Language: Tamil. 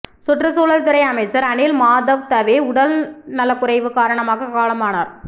சுற்றுசூழல் துறை அமைச்சர் அணில் மாதவ் தவே உடல் நலக்குறைவு காரணமாக காலமானார்